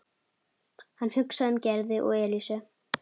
Hann hugsaði um Gerði og Elísu.